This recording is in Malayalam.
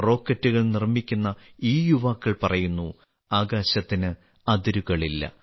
റോക്കറ്റുകൾ നിർമ്മിക്കുന്ന ഈ യുവാക്കൾ പറയുന്നു ആകാശത്തിന് അതിരുകളില്ല